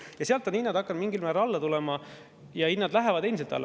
Ja sealt on hinnad hakanud mingil määral alla tulema ja hinnad lähevad endiselt alla.